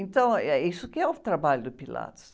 Então, eh, e é isso que é o trabalho do Pilates.